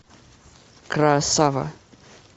красава